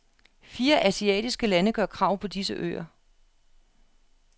Fire asiatiske lande gør krav på disse øer.